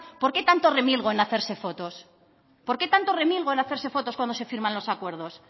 por qué tanto remilgo en hacerse fotos por qué tanto remilgo en hacerse fotos cuando se firman los acuerdos